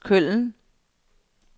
Køln